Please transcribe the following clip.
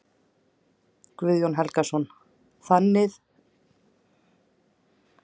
Guðjón Helgason: Þannig að ykkar útrás í Bretlandi er ekki lokið?